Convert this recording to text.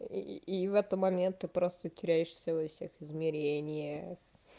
и и в это момент ты просто теряешь всё и всех измерения